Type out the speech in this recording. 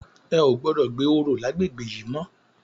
È ó gbòdò gbé óró làgbégbé yi mò